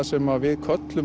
sem við köllum